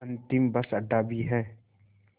अंतिम बस अड्डा भी है